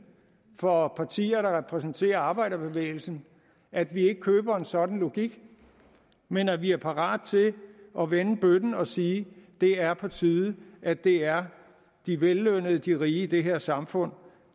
for partier der repræsenterer arbejderbevægelsen at vi ikke køber en sådan logik men at vi er parat til at vende bøtten og sige det er på tide at det er de vellønnede de rige i det her samfund